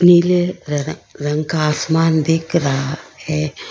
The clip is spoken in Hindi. नीले रंग का आसमान दिख रहा है।